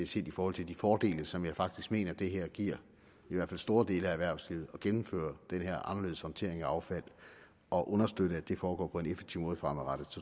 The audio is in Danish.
set i forhold til de fordele som jeg faktisk mener det giver i hvert fald store dele af erhvervslivet at gennemføre den her anderledes håndtering af affald og understøtte at det foregår på en effektiv måde fremadrettet